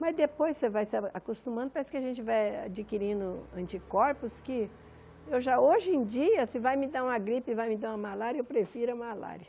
Mas depois você vai se a acostumando, parece que a gente vai adquirindo anticorpos que... Eu já hoje em dia, se vai me dar uma gripe, vai me dar uma malária, eu prefiro a malária.